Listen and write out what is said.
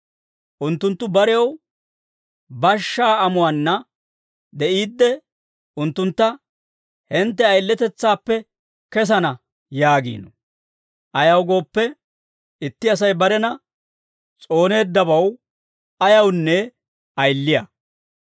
Unttunttu barew bashshaa amuwaanna de'iidde unttuntta, «Hintte ayiletetsaappe kesana» yaagiino; ayaw gooppe, itti Asay barena s'ooneeddabaw ayawunne ayiliyaa.